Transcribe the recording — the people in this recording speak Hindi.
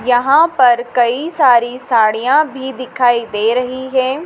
यहां पर कई सारी साड़ियां भी दिखाई दे रही हैं।